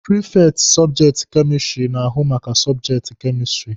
Prifekti sọbjekti kemistiri na-ahụ maka sọbjekti kemistiri.